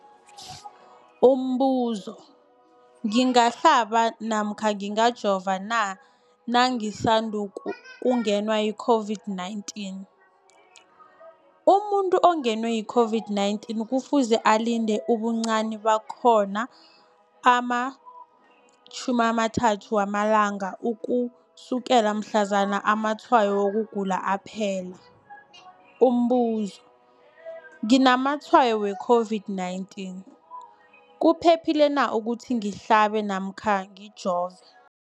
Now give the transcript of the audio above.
Umbuzo, ngingahlaba namkha ngingajova na nangisandu kungenwa yi-COVID-19? Umuntu ongenwe yi-COVID-19 kufuze alinde ubuncani bakhona ama-30 wama langa ukusukela mhlazana amatshayo wokugula aphela. Umbuzo, nginamatshayo we-COVID-19, kuphephile na ukuthi ngihlabe namkha ngijove?